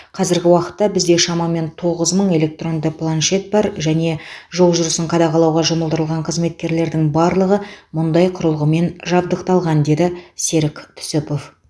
қазіргі уақытта бізде шамамен тоғыз мың электронды планшет бар және жол жүрісін қадағалауға жұмылдырылған қызметкерлердің барлығы мұндай құрылғымен жабдықталған деді серік түсіпов